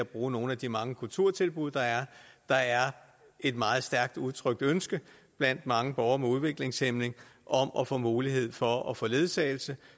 bruge nogle af de mange kulturtilbud der er der er et meget stærkt udtrykt ønske blandt mange borgere med udviklingshæmning om at få mulighed for at få ledsagelse